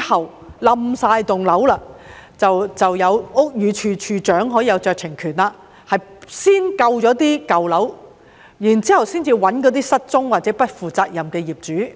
號的整幢樓宇倒塌後，屋宇署署長當時可行使酌情權先救舊樓，然後才尋找失蹤或不負責任的業主。